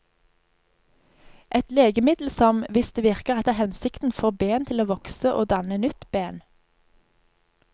Et legemiddel som, hvis det virker etter hensikten, får ben til å vokse og danne nytt ben.